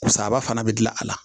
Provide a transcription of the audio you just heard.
Sababa fana bɛ dilan a la